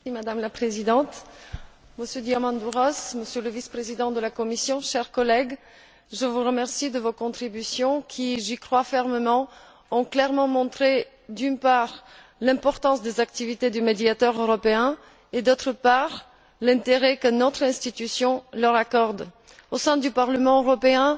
Madame la Présidente, Monsieur Diamandouros, Monsieur le Vice président de la Commission, chers collègues, je vous remercie de vos contributions qui, j'y crois fermement, ont clairement montré, d'une part, l'importance des activités du médiateur européen et, d'autre part, l'intérêt que notre institution leur accorde au sein du Parlement européen.